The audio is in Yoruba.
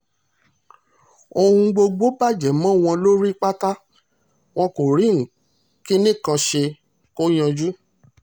ohun gbogbo bàjẹ́ mọ́ wọn lórí pátá wọn kò rí kinní kan ṣe kó yanjú